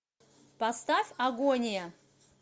поставь агония